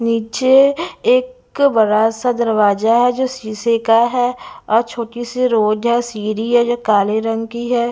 पीछे एक बरासा दरवाजा है जो शीशे का हैं और छोटीसी रोज है सीरी है जो काले रंग की है।